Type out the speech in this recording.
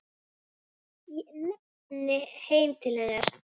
Ég stefni heim til hennar.